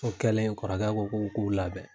O kɛlen ? kɔrɔkɛ ko k' k'u labɛn.